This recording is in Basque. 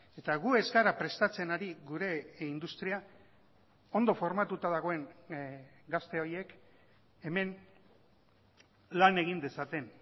eta gu ez gara prestatzen ari gure industria ondo formatuta dagoen gazte horiek hemen lan egin dezaten